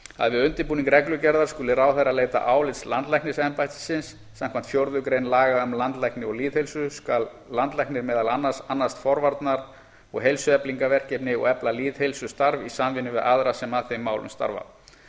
við undirbúning reglugerðar skuli ráðherra leita álits landlæknisembættisins samkvæmt fjórðu grein laga um landlækni og lýðheilsu skal landlæknir meðal annars annast forvarna og heilsueflingarverkefni og efla lýðheilsustarf í samvinnu við aðra sem að þeim málum starfa